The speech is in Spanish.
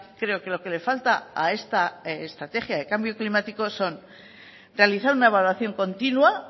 creo que lo que le falta a esta estrategia de cambio climático son realizar una evaluación continua